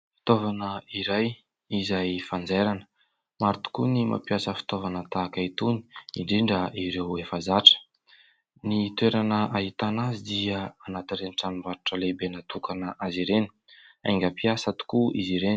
Fitaovana iray izay fanjairana. Maro tokoa ny mampiasa fitaovana tahaka itony; indrindra ireo efa zatra. Ny toerana ahitana azy dia anatin'ireny tranom-batrotra lehibe natokana ho azy ireny. Aingam-piasa tokoa izy ireny.